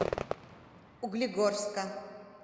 углегорска